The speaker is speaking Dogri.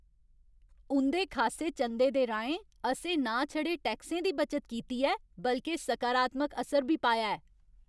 उं'दे खासे चंदे दे राहें, असें ना छड़े टैक्सें दी बचत कीती ऐ बल्के सकारात्मक असर बी पाया ऐ!